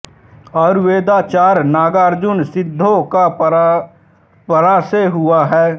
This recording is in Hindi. आयुर्वेदाचार्य नागार्जुन सिद्धों की परंपरा में हुए हैं